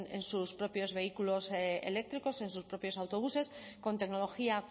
en sus propios vehículos eléctricos en sus propios autobuses con tecnología